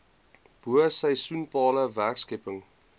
bo seisoenale werkskepping